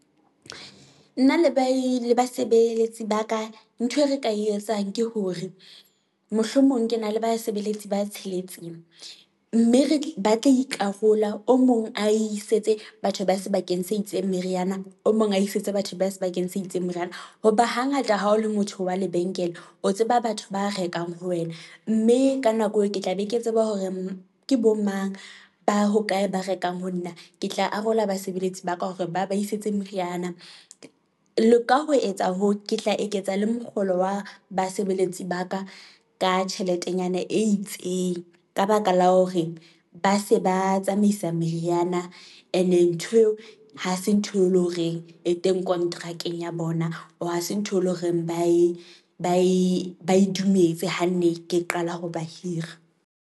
Nna le ba e le basebeletsi ba ka, ntho e re ka e etsang ke hore, mohlomong ke na le basebeletsi ba tsheletseng, mme batla ikarola o mong a isetse batho ba sebakeng se itseng meriana, o mong a isetse batho ba sebakeng se itseng moriana, hoba hangata ha o le motho wa lebenkele o tseba batho ba rekang ho wena. Mme ka nako eo ke tla be ke tseba hore ke bo mang ba hokae, ba rekang ho nna, ke tla arola basebeletsi ba ka hore ba ba isetsa meriana, le ka ho etsa hoo ke tla eketsa le mokgolo wa basebeletsi ba ka, ka tjheletenyana e itseng ka baka la hore ba se ba tsamaisa meriana. Ene ntho eo hase ntho e leng horeng e teng kontrakeng ya bona, or hase ntho e leng horeng ba e dumetse ha ne ke qala ho ba hira.